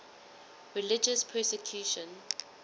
religious persecution